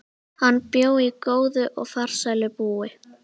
Hann bjó góðu og farsælu búi.